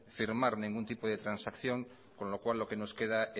firmar ningún tipo de transacción con lo cual lo que nos queda